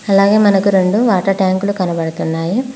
అలాగే మనకు రొండు వాటర్ ట్యాంకులు కనబడుతున్నాయి.